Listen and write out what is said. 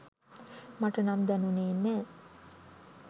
මට නම් දැනුනේ නැහැ.